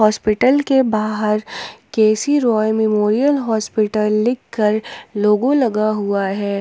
Hospital के बाहर K C Roy memorial hospital लिखकर लोगो लगा हुआ है।